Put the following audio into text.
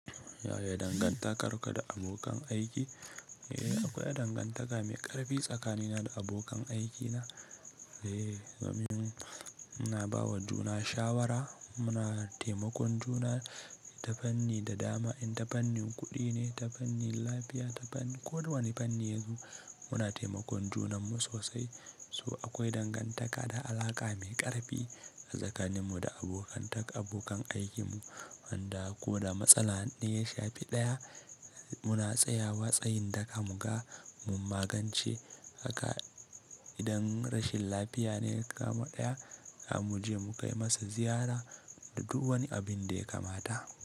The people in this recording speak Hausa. Yaya dangantakar ka da abokan aiki? Eh, akwai dangantaka mai ƙarfi tsakanina da abokan aikina. Eh, dmin muna bawa juna shawara, muna taimakon juna, ta fanni da dama, in ta fannin kuɗi ne, ta fannin lafiya, ta fannin kowane fanni yanzu muna taimakon junanmu sosai. So akwai dangantaka da alaƙa mai ƙarfi tsakaninmu da abokantak abokan aikinmu. Wanda ko da matsala ne ya shafi ɗaya, muna tsayawa tsayin daka mu ga mun magance haka. Idan rashin lafiya ne ya kama ɗaya, za mu je mu kai masa ziyara da duk wani abin da ya kamata.